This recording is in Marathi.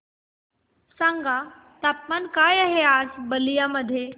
सांगा तापमान काय आहे आज बलिया मध्ये